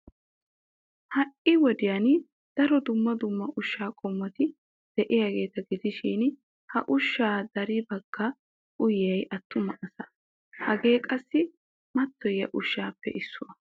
Ha"i wodiyan daro dumma dumma ushshaa qommoti de'iyageeta gidishin ha ushshaa dariya baggi uyiyay attuma asaa. Hagee qassi mattoyiya ushshaappe issuwa.